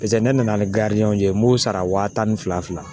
Paseke ne nana ni ye n m'o sara wa tan ni fila